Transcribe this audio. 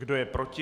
Kdo je proti?